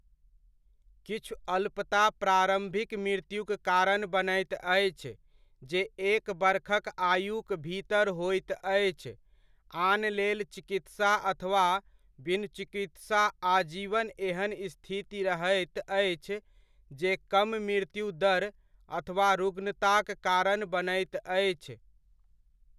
किछु अल्पता प्रारम्भिक मृत्युक कारण बनैत अछि जे एक बरखक आयुक भीतर होइत अछि, आन लेल चिकित्सा अथवा बिनु चिकित्सा आजीवन एहन स्थिति रहैत अछि जे कम मृत्यु दर अथवा रुग्णताक कारण बनैत अछि।